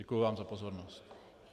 Děkuji vám za pozornost.